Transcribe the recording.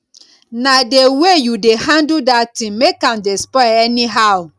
na the way you dey handle dat thing make am dey spoil anyhow